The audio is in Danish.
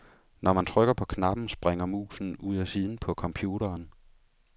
Når man trykker på knappen, springer musen ud af siden på computeren.